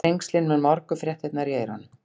Þrengslin með morgunfréttirnar í eyrunum.